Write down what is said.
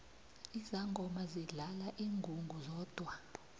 izangoma zidlala ingungu zodwa